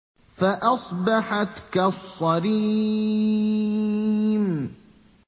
فَأَصْبَحَتْ كَالصَّرِيمِ